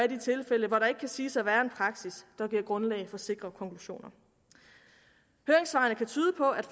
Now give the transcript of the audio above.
de tilfælde hvor der ikke kan siges at være en praksis der giver grundlag for sikre konklusioner høringssvarene kan tyde på at